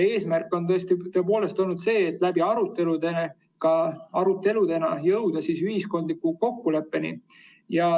Eesmärk on tõepoolest olnud ka arutelude kaudu jõuda ühiskondlikule kokkuleppele.